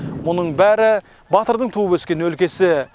мұның бәрі батырдың туып өскен өлкесі